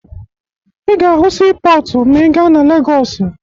Ị ga-ahụ siipọọtụ ma ị gaa na Legọọsụ